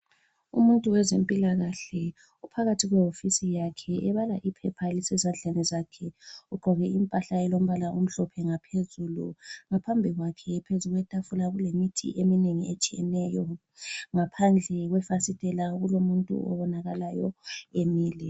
Umuntu wezempilakahle uphakathi kwehofisi yakhe ebala iphepha elisezandleni zakhe ugqoke impahla elombala omhlophe ngaphezulu ngaphambi kwakhe phezukwetafula kulemithi eminengi etshiyeneyo ngaphandle kwefasitela kulomuntu obonakalayo emile.